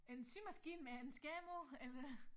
En symaskine med en skærm på eller